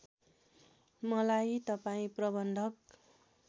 मलाई तपाईँ प्रबन्धक